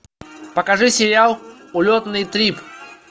покажи сериал улетный трип